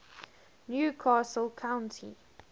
new castle county